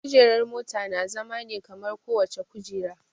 Kujerar mota na zama ne kamar kowace kujera